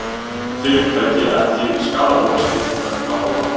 Fyrirtæki ekki skaðabótaskylt vegna óhapps